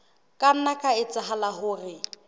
ka nna ha etsahala hore